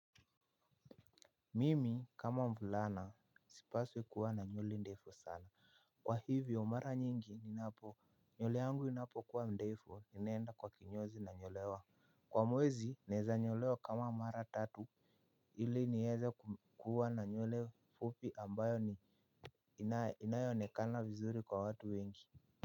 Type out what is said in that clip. Mimi kama mvulana sipaswi kuwa na nywele ndefu sana. Kwa hivyo mara nyingi ninapo nywele yangu inapokuwa ndefu ninaenda kwa kinyozi nanyolewa. Kwa mwezi naeza nyolewa kama mara tatu ili nieze huwa na nywele fupi ambayo ni inayoonekana vizuri kwa watu wengi. Kwa hivyo.